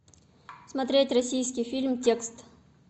смотреть российский фильм текст